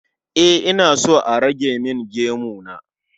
E, ina so a rage min gemu na